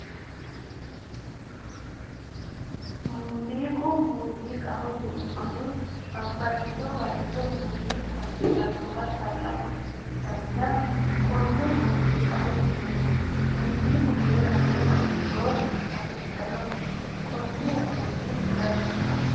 Muuziiqa muuziiqaho yineemmohu babbaxxino baycho muuziiqu hasiisannowa calla horonsi'nanniha konne muuziiqaho yineemmo muuziiqu heera lowo horo afidhinote konnira muuziiqu danchaho